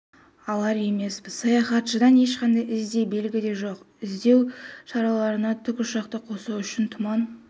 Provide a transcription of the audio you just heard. алар емеспіз саяхатшыдан ешқандай із де белгі де жоқ іздеу шараларына тікұшақты қосу үшін тұман